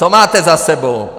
Co máte za sebou?